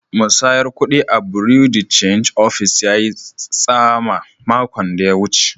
Musayar kudi a'bureau de change office yayi tsama makon da ya wuce.